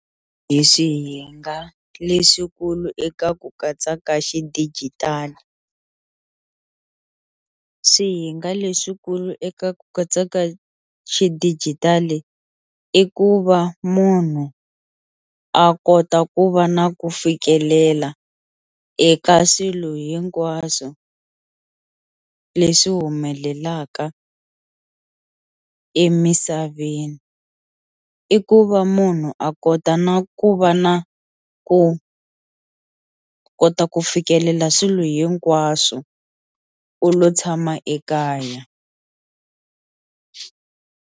Hi swihinga leswikulu eka ku katsa ka xidijitali, swihinga leswikulu eka ku katsa ka xidijitali i ku va munhu a kota ku va na ku fikelela eka swilo hinkwaswo leswi humelelaka emisaveni, i ku va munhu a kota na ku va na ku kota ku fikelela swilo hinkwaswo u lo tshama ekaya.